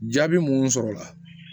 Jaabi mun sɔrɔla